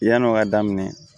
Yan'o ka daminɛ